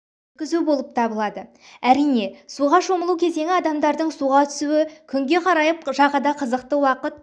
өткізу болып табылады әрине суға шомылу кезеңі адамдардың суға түсуі күнге қарайып жағада қызықты уақыт